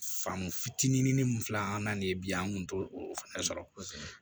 Fan fitinin min filɛ an n'an de ye bi an kun t'o o fɛnɛ sɔrɔ